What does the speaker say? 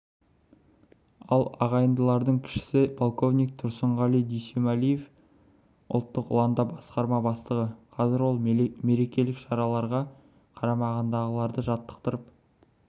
ал ағайындылардың кішісі полковник тұрсынғали дүйсемәлиев ұлттық ұланда басқарма бастығы қазір ол мерекелік шараларға қарамағындағыларды жаттықтырып